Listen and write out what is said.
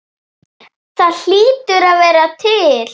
Það hlýtur að vera til?